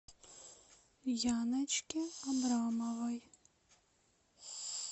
яночке абрамовой